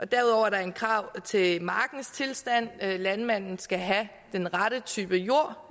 derudover er der et krav til markens tilstand landmanden skal have den rette type jord